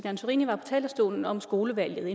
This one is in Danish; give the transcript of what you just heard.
antorini var på talerstolen om skolevalget